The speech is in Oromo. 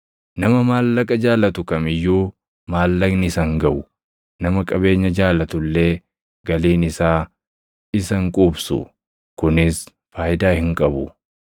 Nama maallaqa jaalatu kam iyyuu maallaqni isa hin gaʼu; nama qabeenya jaalatu illee galiin isaa isa hin quubsu. Kunis faayidaa hin qabu.